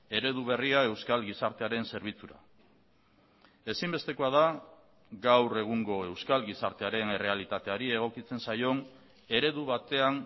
eredu berria euskal gizartearen zerbitzura ezinbestekoa da gaur egungo euskal gizartearen errealitateari egokitzen zaion eredu batean